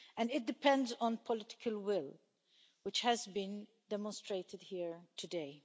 It also depends on political will, which has been demonstrated here today.